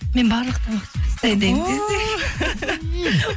мен барлық тамақ